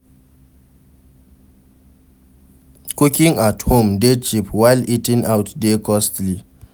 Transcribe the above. cooking at home de cheap while eating out de costly